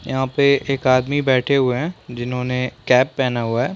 यहाँ पे एक आदमी बैठे हुए है जिन्होने कैप पहना हुआ है।